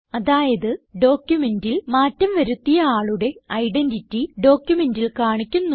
അതായത് ഡോക്യുമെന്റിൽ മാറ്റം വരുത്തിയ ആളുടെ ഐഡന്റിറ്റി ഡോക്യുമെന്റിൽ കാണിക്കുന്നു